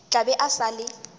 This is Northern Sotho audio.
tla be e sa le